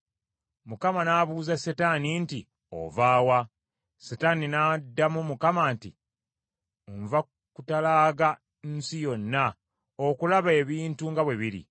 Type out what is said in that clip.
Mukama n’abuuza Setaani nti, “Ova wa?” Setaani n’addamu Mukama nti, “Nva kutalaaga nsi yonna okulaba ebintu nga bwe biri.”